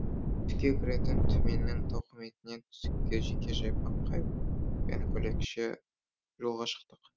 түске кіретін түменнің тауқыметіне түстікте жеке жайпақ қайықпен бөлекше жолға шықтық